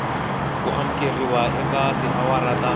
ku amukeriwa eka tiawara ta